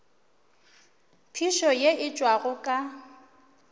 phišo ye e tšwago ka